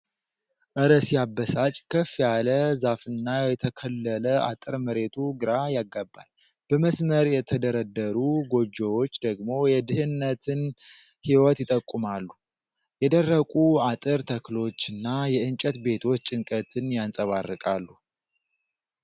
እረ ሲያበሳጭ! ከፍ ያለ ዛፍና የተከለለ አጥር መሬቱ ግራ ያጋባል። በመስመር የተደረደሩ ጎጆዎች ደግሞ የድህነትን ሕይወት ይጠቁማሉ ። የደረቁ አጥር ተክሎችና የእንጨት ቤቶች ጭንቀትን ያንፀባርቃሉ።